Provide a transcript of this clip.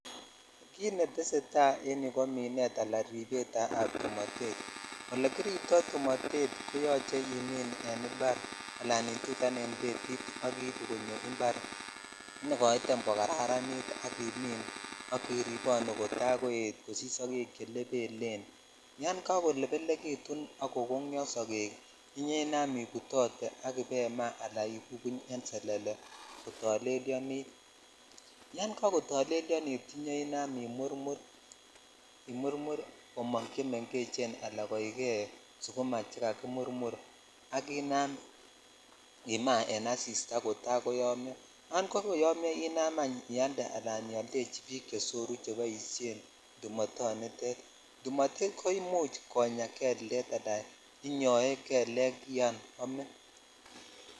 Kit netesetai en yuu kminet ala ripet ab tumotet ole kiripto tumotet koyoche imin en impar ala itutan en betitan ak ibu konyo impar nekoitem kokararanit al imin k iripone kota koet kosich sogek che lebelen yan kakolebelekitun ak kokonyo dogee iuo inam ibutotee ak ibaima ala ibai bubuny en selele ko tolelyonit yan kakotolelyonit iyoinam imurmur komong chemengechen ala koikei sukuma che kakimurmur ak inam imaa en asitaa kota koyomyo yan kakoyomyo inam any ialde ala iyoldechi bik chesoru cheboishen tumotonitet tumotet ko imuch kinyaen kiltet ala inyoe kelek yon omin.